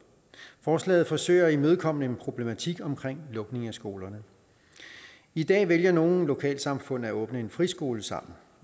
forslaget forsøger at imødekomme en problematik omkring lukning af skolerne i dag vælger nogle lokalsamfund at åbne en friskole sammen